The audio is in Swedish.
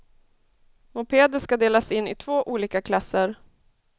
Mopeder ska delas in i två olika klasser.